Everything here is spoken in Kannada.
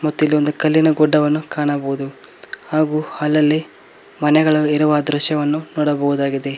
ಮತ್ತು ಇಲ್ಲಿ ಒಂದು ಕಲ್ಲಿನ ಗುಡ್ಡವನ್ನು ಕಾಣಬಹುದು ಹಾಗು ಅಲ್ಲಲ್ಲಿ ಮನೆಗಳು ಇರುವ ದೃಶ್ಯವನ್ನು ನೋಡಬಹುದಾಗಿದೆ.